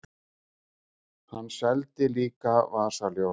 Hann seldi líka vasaljós.